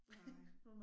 Nej